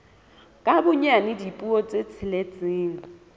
ka bonyane dipuo tse tsheletseng